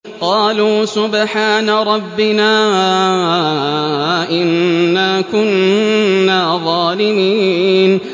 قَالُوا سُبْحَانَ رَبِّنَا إِنَّا كُنَّا ظَالِمِينَ